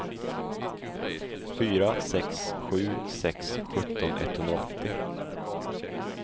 fyra sex sju sex sjutton etthundraåttio